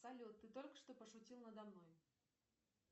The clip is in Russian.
салют ты только что пошутил надо мной